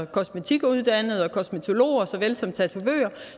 kosmetikuddannede og kosmetologer såvel som tatovører